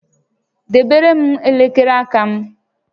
Debere m elekere aka m!